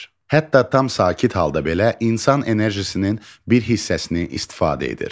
Hətta tam sakit halda belə insan enerjisinin bir hissəsini istifadə edir.